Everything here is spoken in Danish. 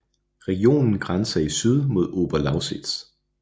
Regionen grænser i syd mod Oberlausitz